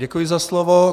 Děkuji za slovo.